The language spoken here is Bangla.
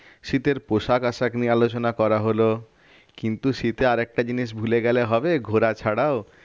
শীতের পোশাক আশাক নিয়ে আলোচনা করা হলো কিন্তু সেটা আর একটা জিনিস ভুলে গেলে হবে ঘোরা ছাড়াও